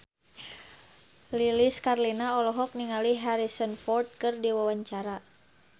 Lilis Karlina olohok ningali Harrison Ford keur diwawancara